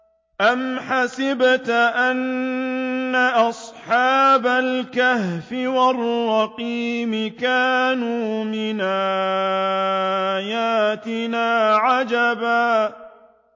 أَمْ حَسِبْتَ أَنَّ أَصْحَابَ الْكَهْفِ وَالرَّقِيمِ كَانُوا مِنْ آيَاتِنَا عَجَبًا